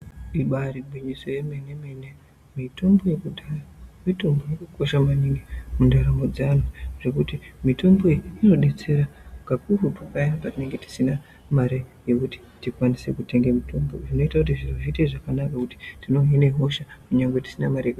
Ibaari gwinyiso yemenemene mitombo yekudhaya mitombo yakakosha maningi mundaramo dzeanthu zvekuti mitombo iyi inodetsera kakurutu paya patinenge tisina mare yekuti tikwanise kutenge mitombo zvinoita kuti zviro zviite zvakanaka nekuti tinohine hosha nyangwe tisina mare.